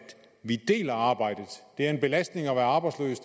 vi deler arbejdet det er en belastning at være arbejdsløs